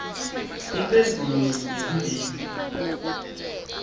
imphendvulo yinye kuleti